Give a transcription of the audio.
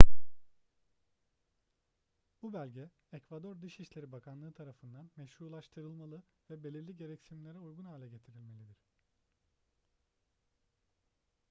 bu belge ekvador dışişleri bakanlığı tarafından meşrulaştırılmalı ve belirli gereksinimlere uygun hale getirilmelidir